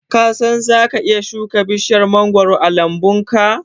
Ka san zaka iya shuka bishiyar mangoro a lambunka?